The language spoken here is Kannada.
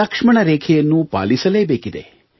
ಲಕ್ಷ್ಮಣ ರೇಖೆಯನ್ನು ಪಾಲಿಸಲೇಬೇಕಿದೆ